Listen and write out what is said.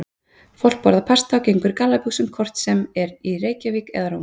Fólk borðar pasta og gengur í gallabuxum hvort sem er í Reykjavík eða Róm.